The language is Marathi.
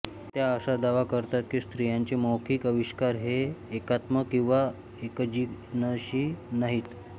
त्या असा दावा करतात कि स्त्रियांचे मौखिक आविष्कार हे एकात्म किंवा एकजिनसी नाहीत